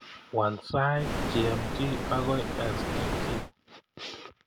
Waal sait g.m.t ago s.t.t